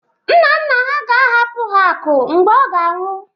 Nna nna ha ga-ahapụ ha akụ mgbe ọ ga-anwụ